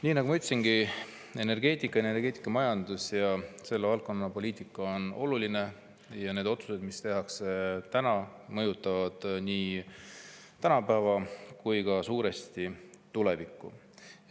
Nii nagu ma ütlesin, energeetika, energeetikamajandus ja selle valdkonna poliitika on oluline ja need otsused, mis tehakse täna, mõjutavad nii tänapäeva kui ka suuresti tulevikku.